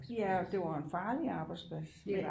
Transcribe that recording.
Ja og det var en farlig arbejdsplads